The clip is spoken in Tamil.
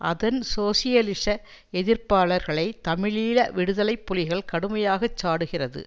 அதன் சோசியலிச எதிர்ப்பாளர்களை தமிழீழ விடுதலை புலிகள் கடுமையாக சாடுகிறது